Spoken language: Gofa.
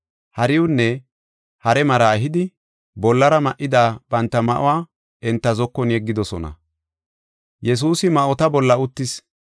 Hariiwunne hare maraa ehidi bollara ma7ida banta ma7uwa enta zokon yeggidosona. Yesuusi ma7ota bolla uttis.